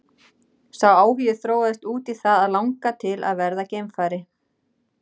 Sá áhugi þróaðist út í það að langa til að verða geimfari.